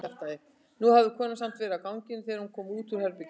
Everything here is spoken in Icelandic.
En nú hafði konan samt verið á ganginum þegar hann kom út úr herberginu.